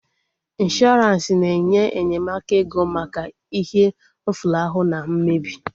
Ịnshọransị na-enye enyemaka ego maka ihe mfulahu na mmebi